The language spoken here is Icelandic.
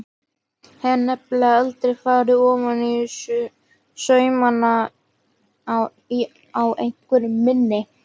Hef nefnilega aldrei farið ofaní saumana á einveru minni.